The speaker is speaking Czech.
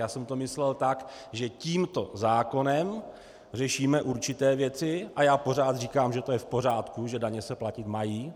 Já jsem to myslel tak, že tímto zákonem řešíme určité věci, a já pořád říkám, že to je v pořádku, že daně se platit mají.